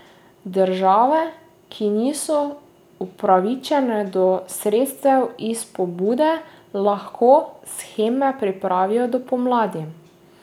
Države, ki niso upravičene do sredstev iz pobude, lahko sheme pripravijo do pomladi.